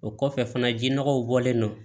O kɔfɛ fana ji nɔgɔw bɔlen don